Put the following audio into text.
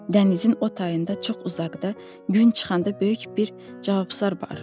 Dənizin o tayında çox uzaqda, gün çıxanda böyük bir cavabsar var.